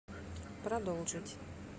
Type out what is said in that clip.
продолжить